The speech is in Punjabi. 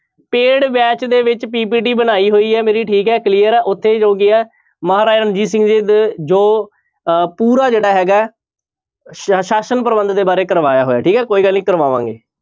Paid batch ਦੇ ਵਿੱਚ PPT ਬਣਾਈ ਹੋਈ ਹੈ ਮੇਰੀ ਠੀਕ ਹੈ clear ਉੱਥੇ ਹੋ ਗਿਆ ਮਹਾਰਾਜਾ ਰਣਜੀਤ ਸਿੰਘ ਦੇ ਜੋ ਅਹ ਪੂਰਾ ਜਿਹੜਾ ਹੈਗਾ ਹੈ ਸ~ ਸ਼ਾਸ਼ਨ ਪ੍ਰਬੰਧ ਦੇ ਬਾਰੇ ਕਰਵਾਇਆ ਹੋਇਆ, ਠੀਕ ਹੈ ਕੋਈ ਗੱਲ ਨੀ ਕਰਾਵਾਂਗੇ।